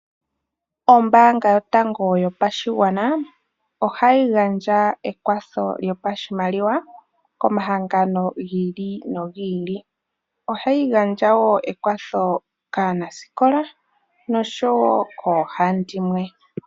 Oombanga yotango yopashigwana ohayi gandja ekwatho lyopashimaliwa komahangano gi ili nogi ili. Ohayi gandja woo omakwatho kaanasikola nosho woo koohandimwe.